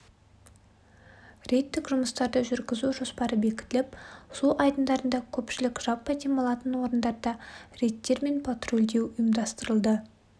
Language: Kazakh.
рейдтік жұмыстарды жүргізу жоспары бекітіліп су айдындарында көпшілік жаппай демалатын орындарда рейдтер мен патрулдеу ұйымдастырылды